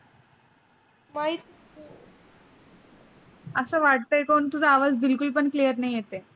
अस वाटतय बघ तुझा आवाज़ बिल्कुल पण clear नाही येतय.